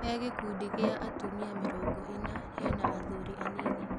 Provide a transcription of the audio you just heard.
He gĩkundi gĩa atumia mĩtongo ĩna hena athuri anini.